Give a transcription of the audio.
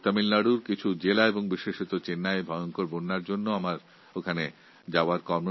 কিন্তু তামিলনাড়ুর কয়েকটি জেলায় বিশেষ করে চেন্নাইয়ে ভয়ঙ্কর বন্যার কারণে আমাকে ওখানে যেতে হয়েছিল